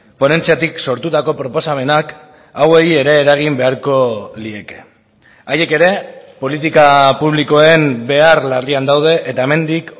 ponentziatik sortutako proposamenak hauei ere eragin beharko lieke haiek ere politika publikoen behar larrian daude eta hemendik